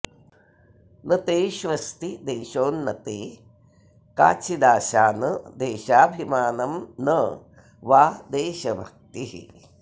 न तेष्वस्ति देशोन्नते काचिदाशा न देशाभिमानं न वा देशभक्तिः